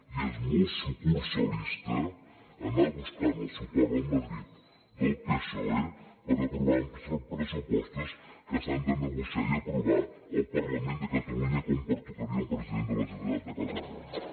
i és molt sucursalista anar buscant el suport de madrid del psoe per aprovar uns pressupostos que s’han de negociar i aprovar al parlament de catalunya com pertocaria a un president de la generalitat de catalunya